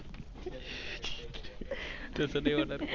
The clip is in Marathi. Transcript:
तू तर